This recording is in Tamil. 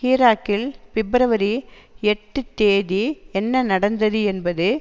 ஈராக்கில் பிப்ரவரி எட்டு தேதி என்ன நடந்தது என்பது